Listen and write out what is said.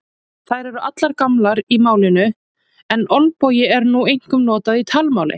Þær eru allar gamlar í málinu en olbogi er nú einkum notað í talmáli.